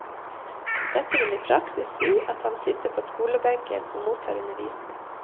Dette vil i praksis si at han sitter på skolebenken og mottar undervisning.